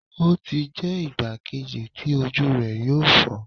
O ti jẹ igba kẹta ti oju rẹ yoo fọ